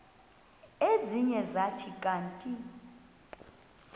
ezinye zathi kanti